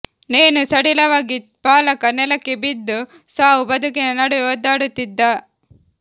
ನೇಣು ಸಡಿಲವಾಗಿ ಬಾಲಕ ನೆಲಕ್ಕೆ ಬಿದ್ದು ಸಾವು ಬದುಕಿನ ನಡುವೆ ಒದ್ದಾಡುತ್ತಿದ್ದ